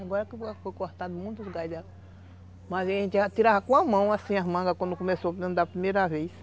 Agora que foi cortado muito, o gás... Mas aí a gente tirava com a mão, assim, as mangas, quando começou a andar pela primeira vez.